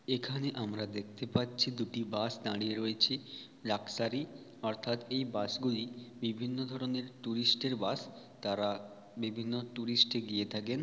এখানে আমরা দেখতে পাচ্ছি দুটি বাঁশ দাঁড়িয়ে রয়েছে লাক্সারি অর্থাৎ এই বাস গুলি বিভিন্ন ধরনের টুরিস্ট এর বাস তারা বিভিন্ন টুরিস্ট -টে গিয়ে থাকেন।